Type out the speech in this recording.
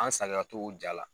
An saliya t'o jaa la.